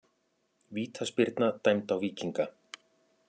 Vítaspyrna dæmd á Víkinga